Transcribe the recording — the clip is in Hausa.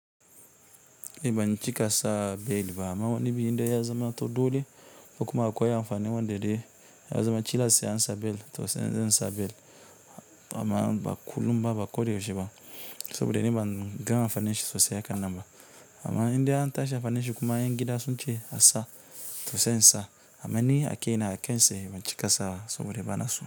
Ban cika sa belt ba amma wani zubi in ya zamanto dole ko kuma akwai amfani wanda dai ya zamanto dole sai insa belt amma ba kullum ba ba ko da yaushe ba saboda ni banga amfanin shi sossai haka nan ba amma in dai an tashi amfanin da shi kuma ƴan gida sunce asa to sai insa ama ni akaina akai tsaye ban cikasa ba sabida bana so.